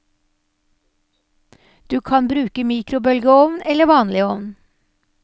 Du kan bruke mikrobølgeovn eller vanlig ovn.